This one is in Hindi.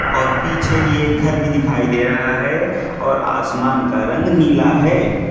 और पीछे ही एक घर भी दिखाई दे रहा है और आसमान का रंग नीला है।